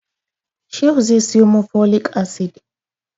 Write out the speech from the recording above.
Shehu zai siyo mun folic acid